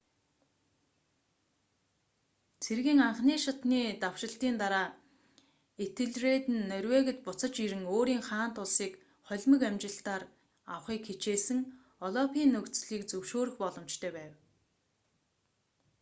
цэргийн анхан шатны давшилтын дараа этельред нь норвегид буцаж ирэн өөрийн хаант улсыг холимог амжилтаар авахыг хичээсэн олафын нөхцөлийг зөвшөөрөх боломжтой байв